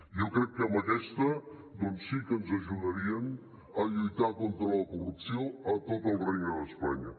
jo crec que amb aquesta doncs sí que ens ajudarien a lluitar contra la corrupció a tot el regne d’espanya